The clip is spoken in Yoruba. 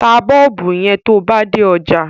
Ta Bọ́ọ̀bù yẹn tó ba dé ọjà.